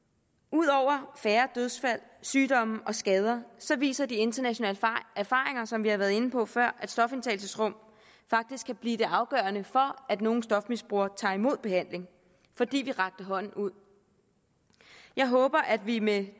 ud over færre dødsfald sygdomme og skader viser de internationale erfaringer som vi har været inde på før at stofindtagelsesrum faktisk kan blive det afgørende for at nogle stofmisbrugere tager imod behandling fordi vi rækker hånden ud jeg håber at vi med